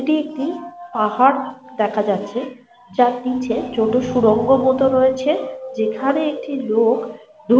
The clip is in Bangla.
এটি একটি পাহাড় দেখা যাচ্ছে যার নিচে ছোট সুড়ঙ্গ মতো রয়েছে। যেখানে একটি লোক দু--